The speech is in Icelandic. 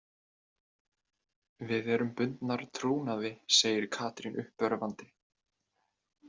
Við erum bundnar trúnaði, segir Katrín uppörvandi.